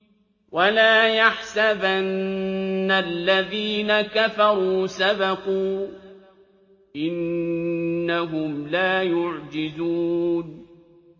وَلَا يَحْسَبَنَّ الَّذِينَ كَفَرُوا سَبَقُوا ۚ إِنَّهُمْ لَا يُعْجِزُونَ